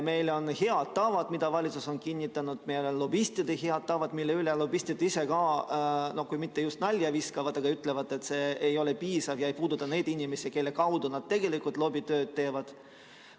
Meil on lobismi head tavad, mis valitsus on kinnitanud ja mille üle lobistid ise kui just mitte nalja ei viska, aga mille kohta nad ütlevad, et see ei ole piisav ega puuduta neid inimesi, kelle kaudu nad tegelikult lobitööd teevad.